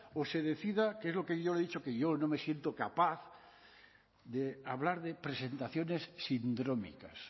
o se decida que es lo que yo le he dicho que yo no me siento capaz de hablar de presentaciones sindrómicas